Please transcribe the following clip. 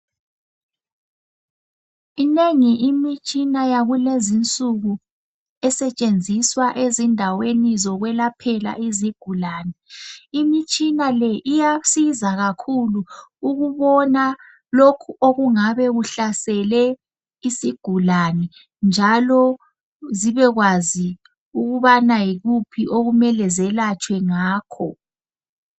Iminengi imitshina yakulezinsuku esetshenziswa ezindaweni zokwelaphela izigulane. Imitshina le iyasiza kakhulu ukubona lokhu okungabe kuhlasele isigulane njalo zibekwazi ukubana yikuphi okumele zelatshwe ngakho.